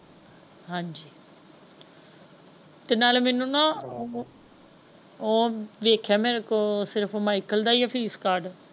ਹਾਜੀ ਤੇ ਨਾਲੇ ਮੈਨੂੰ ਨਾ ਉਹ ਵੇਖਿਆ ਮੇਰੇ ਕੋਲ ਸਿਰਫ ਮਾਇਕਲ ਦਾ ਹੀ ਹੈ ਫੀਸ ਕਾਰਡ।